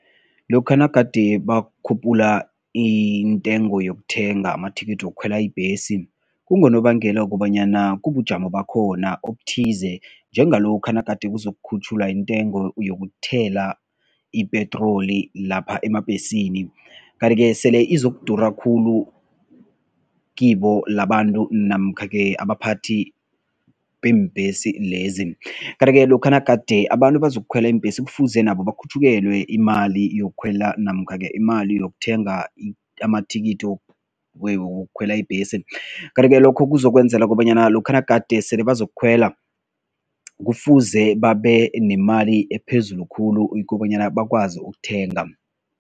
Lokha nagade bakhuphula intengo yokuthenga amathikithi wokukhwela ibhesi, kungonobangela wokobanyana kubujamo bakhona obuthize njengalokha nagade kuzokukhutjhulwa intengo yokuthela ipetroli lapha emabhesini. Kanti-ke sele izokudura khulu kibo labantu namkha-ke abaphathi beembhesi lezi. Kanti-ke lokha nagade abantu bazokukhwela iimbhesi kufuze nabo bakhutjhulelwe imali yokukhwela namkha-ke imali yokuthenga amathikithi wokukhwela ibhesi kanti-ke lokho kuzokwenzela kobanyana lokha nagade sele bazokukhwela kufuze babenemali ephezulu khulu ukobanyana bakwazi ukuthenga.